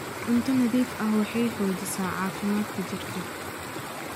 Cunto nadiif ah waxay xoojisaa caafimaadka jidhka.